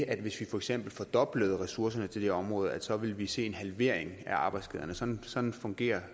at hvis vi for eksempel fordoblede ressourcerne til det her område så ville vi se en halvering af arbejdsskaderne sådan sådan fungerer